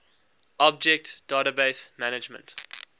object database management